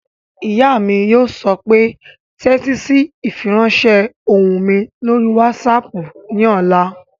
Ìyá mi yóò sọ pé "tẹ́tí sí ìfiránsẹ́ ohùn mi lórí wásaàpù ní ọ̀la!"